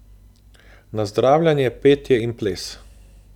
Nazdravljanje, petje in ples.